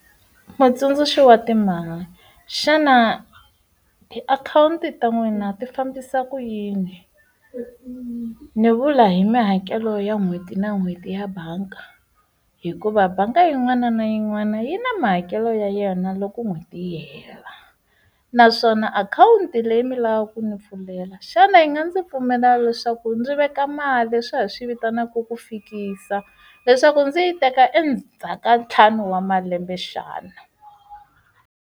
Mutsundzuxi wa timali xana tiakhawunti ta n'wina ti fambisa ku yini ni vula hi mihakelo ya n'hweti na n'hweti ya bangi hikuva bangi yin'wana na yin'wana yi na mahakelo ya yona loko n'hweti yi hela naswona akhawunti leyi mi lavaku ku ni pfulela xana yi nga ndzi pfumela leswaku ndzi veka mali swi ya hi swi vitanaka ku fikisa leswaku ndzi yi teka endzhaku ka ntlhanu wa malembe xana?